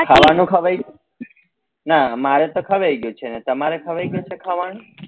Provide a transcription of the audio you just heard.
ખાવા નું ખવાઈ ગયું ના મારે તો ખવાઈ ગયું છે ને તમારે ખવાઈ ગયું છે ખાવા નું?